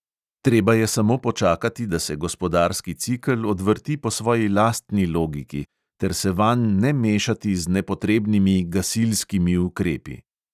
Treba je samo počakati, da se gospodarski cikel odvrti po svoji lastni logiki, ter se vanj ne mešati z nepotrebnimi gasilskimi ukrepi.